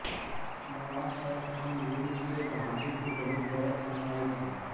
नवाब सैफ खान गुरु तेग बहादुर के बहुत बड़े अनुयायी थे